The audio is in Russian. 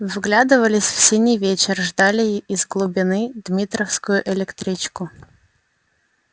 вглядывались в синий вечер ждали из глубины дмитровскую электричку